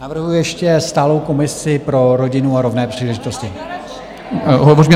Navrhuji ještě stálou komisi pro rodinu a rovné příležitosti.